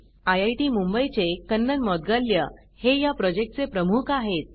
IIT Mumbai चे कन्नन मौद्गल्ल्या हे या प्रॉजेक्ट चे प्रमुख आहेत